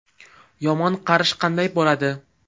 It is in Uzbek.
Yomon qarish qanday bo‘ladi?